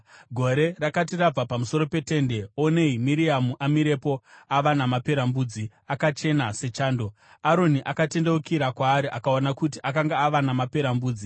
Gore rakati rabva pamusoro peTende, onei Miriamu amirepo ava namaperembudzi, akachena sechando. Aroni akatendeukira kwaari akaona kuti akanga ava namaperembudzi.